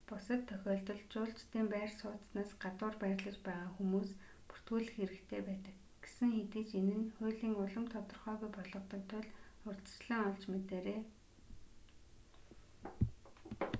бусад тохиолдолд жуулчдын байр сууцнаас гадуур байрлаж байгаа хүмүүс бүртгүүлэх хэрэгтэй байдаг гэсэн хэдий ч энэ нь хуулийн улам тодорхойгүй болгодог тул урьдчилан олж мэдээрэй